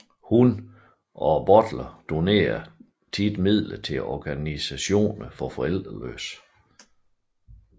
Hun og Butler donerede ofte midler til organisationer for forældreløse